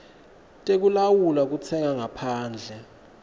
tekulawula kutsenga ngaphandle